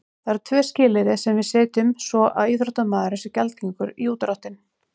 Það eru tvö skilyrði sem við setjum svo að íþróttamaðurinn sé gjaldgengur í útdráttinn.